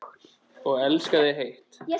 Þar er einnig hurðin.